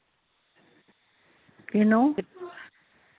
ਕਿਨੂੰ